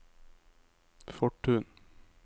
Fortun